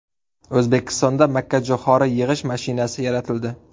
O‘zbekistonda makkajo‘xori yig‘ish mashinasi yaratildi.